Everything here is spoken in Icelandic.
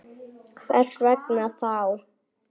Þú kyssir mig og klæðir.